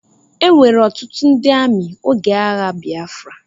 Ewere ọtụtụ ndị amị oge agha Bịafra.